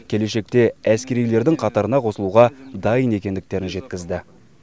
келешекте әскерилердің қатарына қосылуға дайын екендіктерін жеткізді